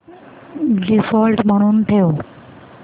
default म्हणून ठेव